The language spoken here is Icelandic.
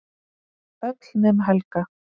Öll nema Helga.